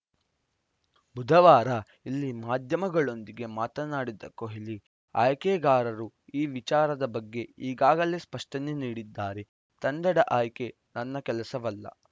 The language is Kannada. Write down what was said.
ಬುಧವಾರ ಇಲ್ಲಿ ಮಾಧ್ಯಮಗಳೊಂದಿಗೆ ಮಾತನಾಡಿದ ಕೊಹ್ಲಿ ಆಯ್ಕೆಗಾರರು ಈ ವಿಚಾರದ ಬಗ್ಗೆ ಈಗಾಗಲೇ ಸ್ಪಷ್ಟನೆ ನೀಡಿದ್ದಾರೆ ತಂಡದ ಆಯ್ಕೆ ನನ್ನ ಕೆಲಸವಲ್ಲ